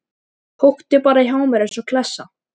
Húkti bara hjá mér eins og klessa.